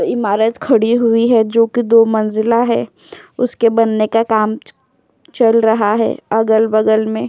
इमारत खड़ी हुई है जोकि दो मंजिला है उसके बनने का काम च चल रहा है अगल-बगल में।